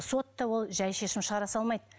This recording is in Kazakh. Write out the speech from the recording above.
сот та ол жай шешім шығара салмайды